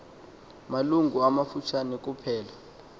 malungu amafutshane kuphela